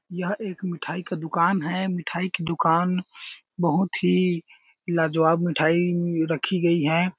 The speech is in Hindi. यह एक मीठाई का दुकान है मिठाई की दुकान बहुत ही लाजवाब मिठाई रखी गई है।